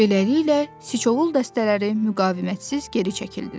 Beləliklə, Siçovul dəstələri müqavimətsiz geri çəkildilər.